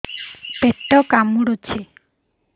ପେଟ କାମୁଡୁଛି